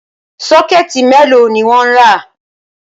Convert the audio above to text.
Sọ́kẹ̀ẹ̀tì mélòó ni wọ́n rà?